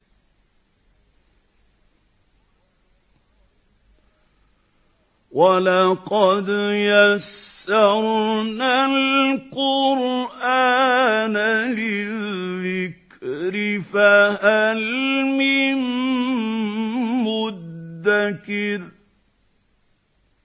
وَلَقَدْ يَسَّرْنَا الْقُرْآنَ لِلذِّكْرِ فَهَلْ مِن مُّدَّكِرٍ